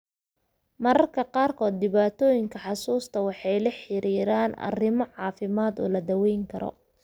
Mararka qaarkood dhibaatooyinka xusuusta waxay la xiriiraan arrimo caafimaad oo la daweyn karo.